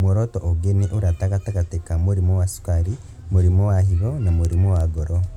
Muoroto ũngĩ nĩ ũrata gatagatĩ ka mũrimũ wa cukari, mũrimũ wa higo, na mũrimũ wa ngoro